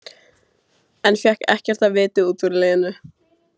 En fékk ekkert af viti út úr Lenu.